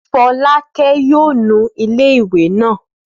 Fọlákẹ́ yóò nu ilé ìwé náà